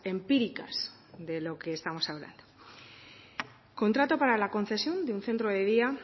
empíricas de lo que estamos hablando contrato para la concesión de un centro de día